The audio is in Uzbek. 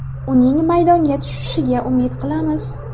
Uning maydonga tushishiga umid qilamiz.